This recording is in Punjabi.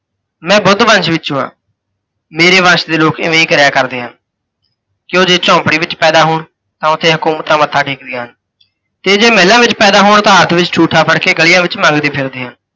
ਮੈਂ ਬੁੱਧ ਵੰਸ਼ ਵਿੱਚੋਂ ਹਾਂ, ਮੇਰੇ ਵੰਸ਼ ਦੇ ਲੋਕ ਇਵੇਂ ਹੀ ਕਰਿਆ ਕਰਦੇ ਹਨ। ਤੇ ਓਹ ਜੇ ਝੋਂਪੜੀ ਵਿੱਚ ਪੈਦਾ ਹੋਣ ਤਾਂ ਉੱਥੇ ਹੁਕੂਮਤਾਂ ਮੱਥਾ ਟੇਕਦੀਆਂ ਹਨ, ਤੇ ਜੇ ਮਹਿਲਾਂ ਵਿੱਚ ਪੈਦਾ ਹੋਣ ਤਾਂ ਹੱਥ ਵਿੱਚ ਠੂਠਾ ਫੜ੍ਹ ਕੇ ਗਲੀਆਂ ਵਿੱਚ ਮੰਗਦੇ ਫਿਰਦੇ ਹਨ।